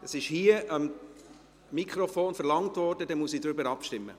Es wurde hier am Mikrofon verlangt, deshalb muss ich so abstimmen.